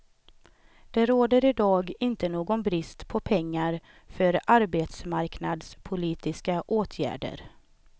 Det råder i dag inte någon brist på pengar för arbetsmarknadspolitiska åtgärder.